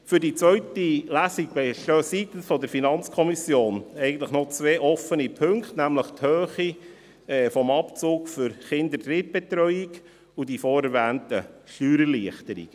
Für die zweite Lesung bestehen seitens der FiKo eigentlich noch zwei offene Punkte, nämlich die Höhe des Abzugs für die Kinderdrittbetreuung und die vorerwähnten Steuererleichterungen.